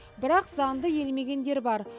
бірақ заңды елемегендер бар